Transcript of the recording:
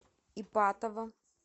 ипатово